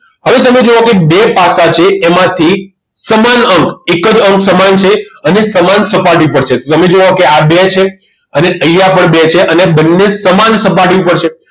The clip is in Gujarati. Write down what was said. હવે તમે જુઓ કે બે પાસા છે એમાં થી સમાન અંક એક જ અંક સમાન છે અને સમાન સપાટી ઉપર છે તમે જુઓ કે આ બે છે અને અહીંયા પણ બે છે અને બંને સમાન સપાટી ઉપર છે